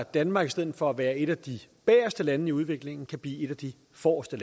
danmark i stedet for at være et af de bageste lande i udviklingen kan blive et af de forreste